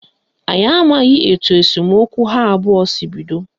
Anyị amaghị etu esemokwu ha abụọ si bido